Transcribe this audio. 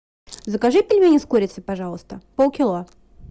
закажи пельмени с курицей пожалуйста полкило